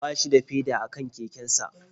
Ba shi da feda a kan kekensa